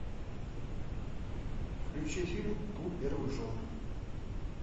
включи фильм клуб первых жен